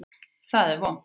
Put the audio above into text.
Það er vont.